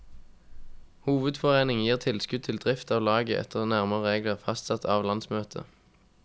Hovedforeningen gir tilskudd til drift av laget etter nærmere regler fastsatt av landsmøtet.